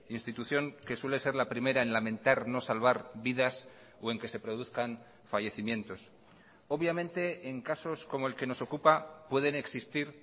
institución que suele ser la primera en lamentar no salvar vidas o en que se produzcan fallecimientos obviamente en casos como el que nos ocupa pueden existir